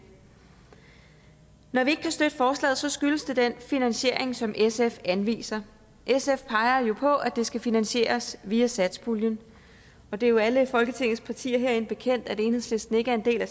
når vi ikke kan støtte forslaget skyldes det den finansiering som sf anviser sf peger jo på at det skal finansieres via satspuljen og det er jo alle folketingets partier herinde bekendt at enhedslisten ikke er en del af